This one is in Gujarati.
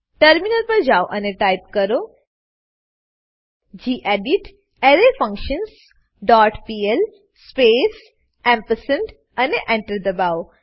ટર્મિનલ પર જાઓ અને ટાઈપ કરો gedit array functions dot pl space ampersand અને Enter દબાઓ